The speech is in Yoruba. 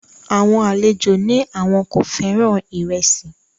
Àwọn àlejò ní àwọn kò fẹ́ràn ìrẹsì